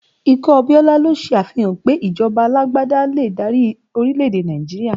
Ikú Abiola ló ṣe àfihàn pé ìjọba alágbádá lè dárí orílẹ̀ èdè Nàìjíríà